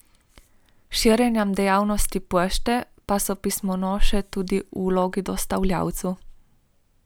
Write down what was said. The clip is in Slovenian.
S širjenjem dejavnosti Pošte pa so pismonoše tudi v vlogi dostavljalcev.